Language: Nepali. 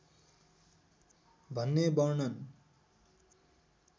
भन्ने वर्णन